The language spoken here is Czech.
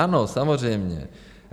Ano, samozřejmě.